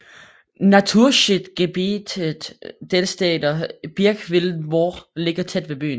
Naturschutzgebietet Dellstedter Birkwildmoor ligger tæt ved byen